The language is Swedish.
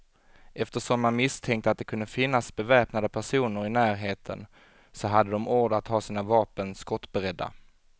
Eftersom man misstänkte att det kunde finnas beväpnade personer i närheten, så hade de order att ha sina vapen skottberedda.